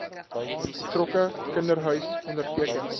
betrokke kinderhuis onderteken